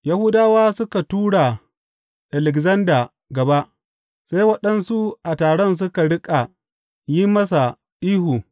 Yahudawa suka tura Alekzanda gaba, sai waɗansu a taron suka riƙa yin masa ihu.